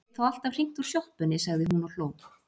Ég get þó alltaf hringt úr sjoppunni, sagði hún og hló.